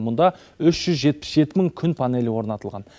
мұнда үш жүз жетпіс жеті мың күн панелі орнатылған